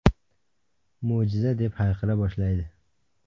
Mo‘jiza!” deb hayqira boshlaydi.